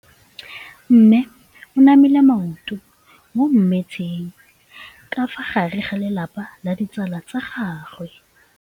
Mme o namile maoto mo mmetseng ka fa gare ga lelapa le ditsala tsa gagwe.